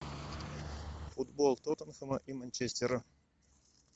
футбол тоттенхэма и манчестера